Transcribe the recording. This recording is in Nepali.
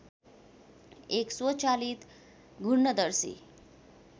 एक स्वचालित घूर्णदर्शी